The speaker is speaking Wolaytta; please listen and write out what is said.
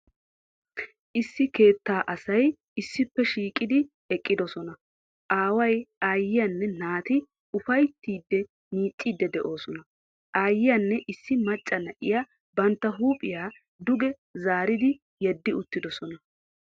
Issi keettaa asay issippe shiiqqidi eqqiddossona. Aaway, aayiyanne naati ufayttidi miicciidi de'oosona, ayyiyanne issi macca na'iya bantta huuphiya duge zaaridi yedi uttidosona.